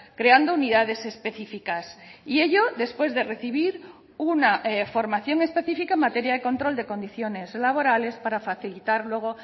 creando unidades específicas y ello después de recibir una formación específica en materia de control de condiciones laborales para facilitar luego